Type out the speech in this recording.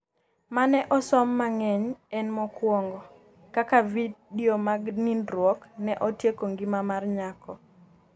mane osom mangeny en mokuongo ,Kaka vidio mag nindruok ne otieko ngima mar nyako